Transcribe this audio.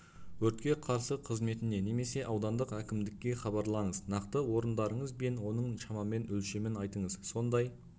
өртке қарсы қызметіне немесе аудандық әкімдікке хабарлаңыз нақты орындарыңыз бен оның шамамен өлшемін айтыңыз сондай